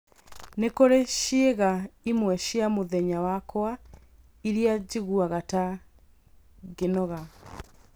Nĩ kũrĩ ciĩga imwe cia mũthenya wakwa iria njiguaga ta ngĩnoga